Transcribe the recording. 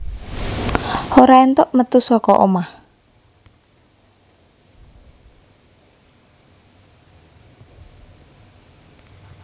Ora éntuk metu saka omah